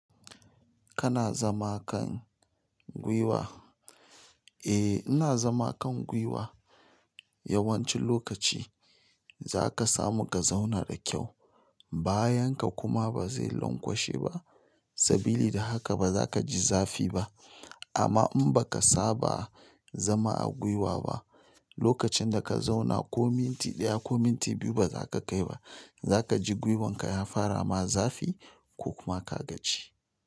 Kana zama kan, gwiwa? Eh, ina zama kan gwiwa. Yawancin lokaci, za ka samu ka zauna da kyau, bayan ka kuma ba zai lankwashe ba, sabili da haka ba za ka ji zafi ba. Amma in ba ka saba, zama a gwiwa ba, lokacin da ka zauna ko minti ɗaya ko minti biyu ba za ka kai ba, za ka ji gwiwan ka ya fara ma zafi, ko kuma ka gaji.